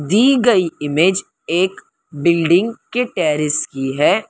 दी गई इमेज एक बिल्डिंग के टेरेस की है।